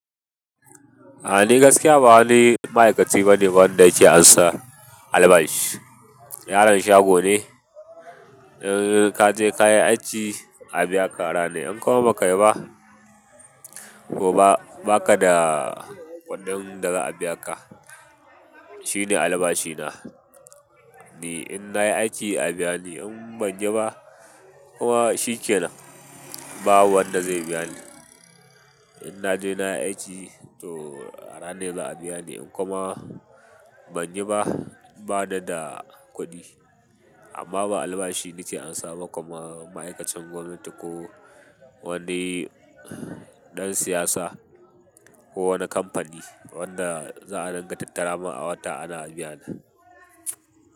A'a ni gaskiya ba wani ma'aikaci bane wanda yake ansan albashi. Yaron shago ne, in ka je ka yi aiki a biya ka rana. In kuma ba ka yi ba, ko ba ka da kuɗin daza a biya ka. Shi ne albashina. Ni inna yi aiki abiyani, inbanyi ba kuma shikenan. Ba wanda zai biya ni. In naje nayi aiki to ranar za'a biya ni, in kuma. Ban yi ba, bani da kuɗi. Amma ba albashi nike amsa ba kuma ma'aikacin gwamnati ko wani ɗan siyasa ko wani kamfani wanda za'a dinga tattara man a wata ana biya na.